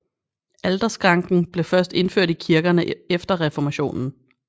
Alterskranken blev først indført i kirkene efter reformationen